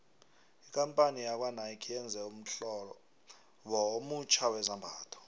ikampani yakwanike yenze ummhlobo omutjha wezambhatho